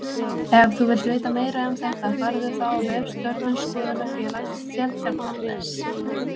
Ef þú vilt vita meira um þetta farðu þá á vef Stjörnuskoðunarfélags Seltjarnarness.